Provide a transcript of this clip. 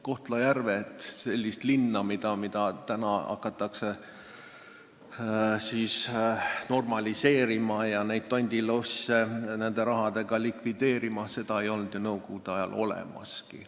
Kohtla-Järvet – seda linna, mida nüüd hakatakse normaliseerima ja neid tondilosse nende rahadega likvideerima –, seda linna ei olnud ju enne nõukogude aega olemaski.